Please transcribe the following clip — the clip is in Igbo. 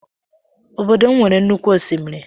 Ọbọdọ m nwere nnụkwụ oshimírí.